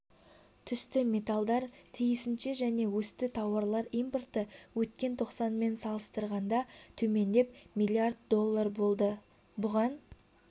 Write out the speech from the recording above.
түсті металдар тиісінше және өсті тауарлар импорты өткен тоқсанмен салыстырғанда төмендеп млрд долл болды бұған